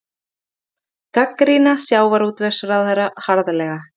Gagnrýna sjávarútvegsráðherra harðlega